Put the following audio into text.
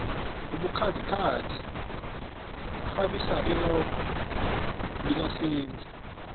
ubukhazikhazi bukghabisa irogo lika senzi